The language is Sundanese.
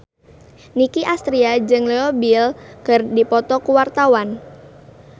Nicky Astria jeung Leo Bill keur dipoto ku wartawan